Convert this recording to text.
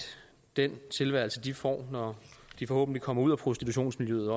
den tilværelse de får når de forhåbentlig kommer ud af prostitutionsmiljøet